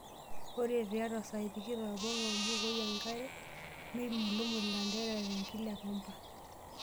Ore tiatwa saai tikitam ong'wan mbukoi enkare, nimulumul ilanterera tenkila epambaa.